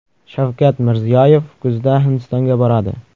Shavkat Mirziyoyev kuzda Hindistonga boradi.